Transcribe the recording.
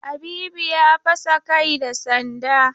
Habibu ya fasa kai da sanda.